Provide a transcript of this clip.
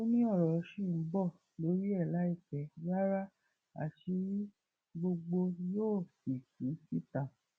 ó ní ọrọ ṣì ń bọ lórí ẹ láì pẹ rárá àṣírí gbogbo yóò sì tú síta